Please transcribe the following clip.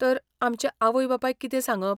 तर, आमच्या आवय बापायक कितें सांगप?